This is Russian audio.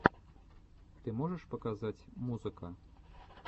ты можешь показать музыка